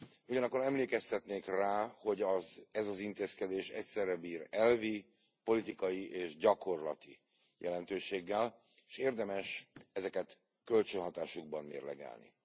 Ugyanakkor emlékeztetnék rá, hogy ez az intézkedés egyszerre bír elvi, politikai és gyakorlati jelentőséggel, és érdemes ezeket kölcsönhatásukban mérlegelni.